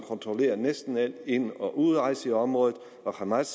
kontrollerer næsten al ind og udrejse i området og hamas